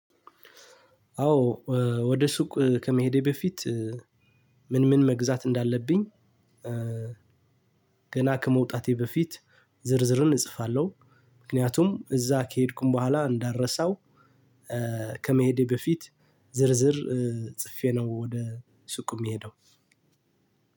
አዎ ወደ ሱቅ ከመሄዴ በፊት ምን ምን መግዛት እንዳለብኝ ገና ከመውጣቴ በፊት ዝርዝርን እጽፋለሁ። ምክንያቱም እዛ ከሄድኩኝ በኋላ እንዳልረሳው ከመሄዴ በፊት ዝርዝር ጽፌ ነው ወደ ሱቅ የምሄደው።